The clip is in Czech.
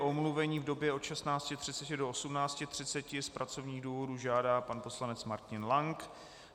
O omluvení v době od 16.30 do 18.30 z pracovních důvodů žádá pan poslanec Martin Lank.